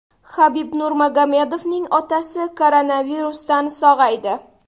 Habib Nurmagomedovning otasi koronavirusdan sog‘aydi.